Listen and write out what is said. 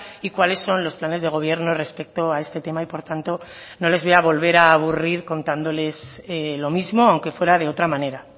y cuáles son los planes de gobierno respecto a este tema y por tanto no les voy a volver a aburrir contándoles lo mismo aunque fuera de otra manera